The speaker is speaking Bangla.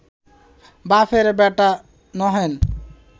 বাপের বেটা নহেন